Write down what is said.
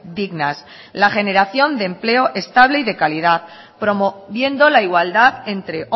dignas la generación de empleo estable y de calidad promoviendo la igualdad entre